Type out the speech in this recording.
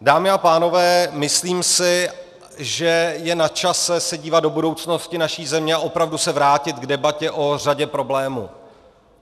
Dámy a pánové, myslím si, že je na čase se dívat do budoucnosti naší země a opravdu se vrátit k debatě o řadě problémů.